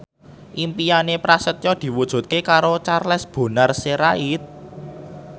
impine Prasetyo diwujudke karo Charles Bonar Sirait